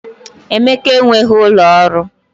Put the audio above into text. Emeka enweghị ụlọ ọrụ